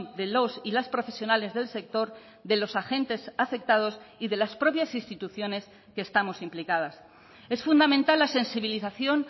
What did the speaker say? de los y las profesionales del sector de los agentes afectados y de las propias instituciones que estamos implicadas es fundamental la sensibilización